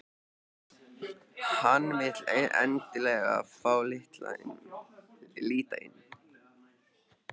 Hann vill endilega fá að líta inn.